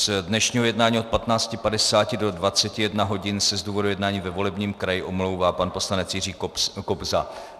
Z dnešního jednání od 15.50 do 21 hodin se z důvodu jednání ve volebním kraji omlouvá pan poslanec Jiří Kobza.